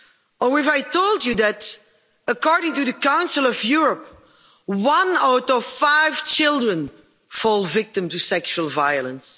Or if I told you that, according to the Council of Europe, one out of five children falls victim to sexual violence.